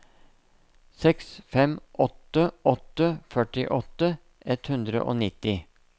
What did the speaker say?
seks fem åtte åtte førtiåtte ett hundre og nitti